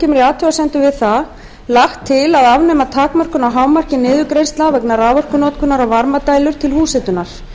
kemur í athugasemdum við það lagt til að afnema takmörkun á hámarki niðurgreiðslna vegna raforkunotkunar á varmadælur til húshitunar